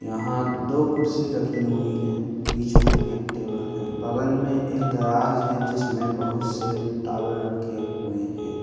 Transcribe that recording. यहां दो कुर्सी रखी हुई हैं | बीच में एक टेबल है| बगल में एक दराज़ है जिसमे बोहुत से टॉवल रखे हुए हैं ।